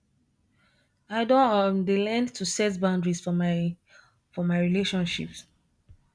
i don um dey learn to set boundaries for my for my relationships